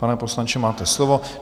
Pane poslanče, máte slovo.